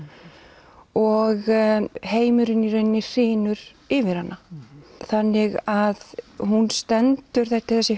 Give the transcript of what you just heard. og heimurinn í rauninni hrynur yfir hana þannig að hún stendur þessi